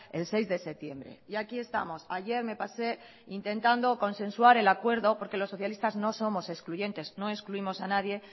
el seis de septiembre y aquí estamos ayer me pasé intentando consensuar el acuerdo porque los socialistas no somos excluyentes no excluimos a nadie